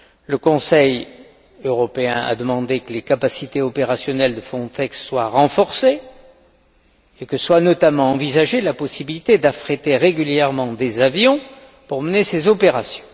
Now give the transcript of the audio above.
Le Conseil européen a demandé que les capacités opérationnelles de Frontex soient renforcées et que soit notamment envisagée la possibilité d'affréter régulièrement des avions pour mener ces opérations.